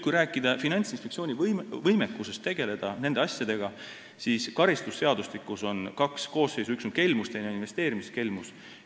Kui rääkida Finantsinspektsiooni võimekusest tegelda nende asjadega, siis karistusseadustikus on kaks koosseisu: üks on kelmus ja teine on investeerimiskelmus.